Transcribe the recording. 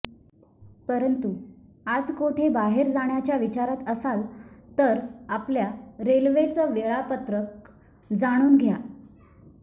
परंतू आज कोठे बाहेर जाण्याच्या विचारात असाल तर आपल्या रेल्वेचं वेळापत्रक जाणून घ्या